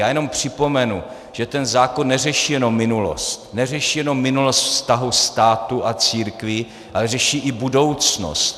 Já jenom připomenu, že ten zákon neřeší jen minulost, neřeší jen minulost vztahu státu a církví, ale řeší i budoucnost.